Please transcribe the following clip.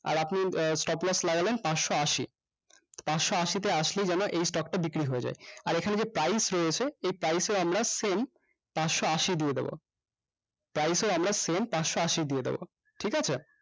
আর আপনি আহ stop loss লাগালেন পাঁচশ আশি পাঁচশ আশি তে আসলেই যেন এই stock টা বিক্রি হয়ে যায় আর এখানে যে price রয়েছে এই price এ আমরা sell পাঁচশ আশি দিয়ে দেব price এ আমরা sell পাঁচশ আশি দিয়ে দেব ঠিকাছে